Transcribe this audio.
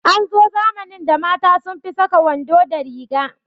An zo zamanin da mata sun fi saka wando da riga